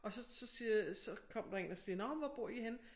Og så så siger så kom der en og siger nåh hvor bor I henne?